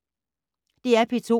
DR P2